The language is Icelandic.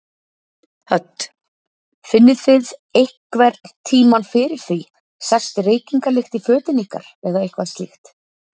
Hödd: Finnið þið einhver tímann fyrir því, sest reykingalykt í fötin ykkar eða eitthvað slíkt?